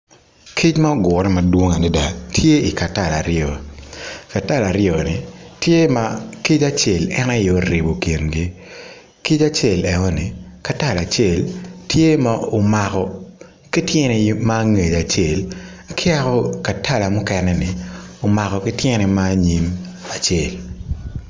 Kic ma ogure madwong adida tye i ka tala aryo katala aryoni tye ma kic en aye oribo kingi kic acel eoni katala acel tye ma omako ki tyene ma angec acel ki yako katala mukenni omako ki tyene ma anyim acel